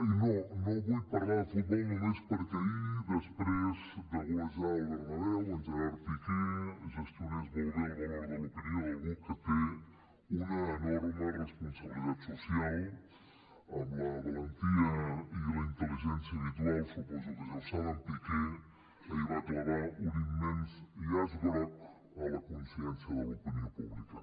i no no vull parlar de futbol només perquè ahir després de golejar al bernabéu en gerard piqué gestionés molt bé el valor de l’opinió d’algú que té una enorme responsabilitat social amb la valentia i la intel·ligència habitual suposo que ja ho saben piqué ahir va clavar un immens llaç groc a la consciència de l’opinió pública